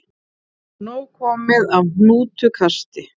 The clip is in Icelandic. Nóg komið af hnútukasti